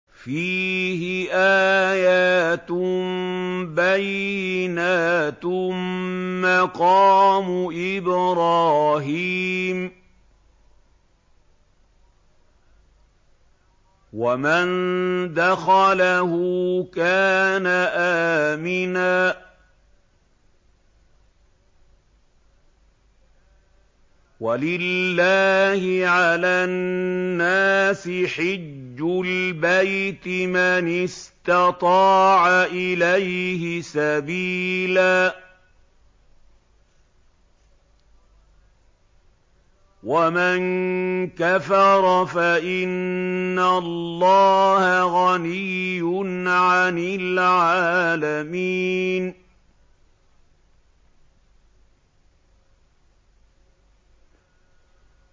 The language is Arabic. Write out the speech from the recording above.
فِيهِ آيَاتٌ بَيِّنَاتٌ مَّقَامُ إِبْرَاهِيمَ ۖ وَمَن دَخَلَهُ كَانَ آمِنًا ۗ وَلِلَّهِ عَلَى النَّاسِ حِجُّ الْبَيْتِ مَنِ اسْتَطَاعَ إِلَيْهِ سَبِيلًا ۚ وَمَن كَفَرَ فَإِنَّ اللَّهَ غَنِيٌّ عَنِ الْعَالَمِينَ